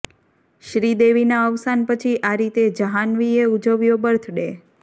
શ્રીદેવીના અવસાન પછી આ રીતે જ્હાનવીએ ઉજવ્યો બર્થ ડે